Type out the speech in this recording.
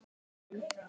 Ég man.